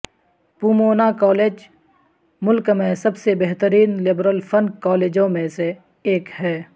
Pomona college ملک میں سب سے بہترین لبرل فن کالجوں میں سے ایک ہے